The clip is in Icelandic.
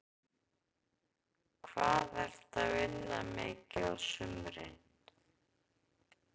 Hvað ertu að vinna mikið á sumrin?